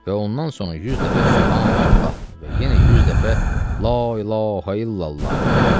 Və ondan sonra 100 dəfə Sübhanallah və yenə 100 dəfə La ilahə illallah.